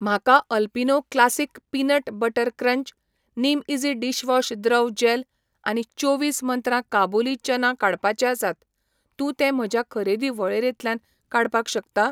म्हाका Alpino classic peanut butter crunch, निमईझी dishwash द्रव जॅल आनी चोवीस मंत्रा काबुली चना काडपाचे आसात, तूं ते म्हज्या खरेदी वळेरेंतल्यान काडपाक शकता?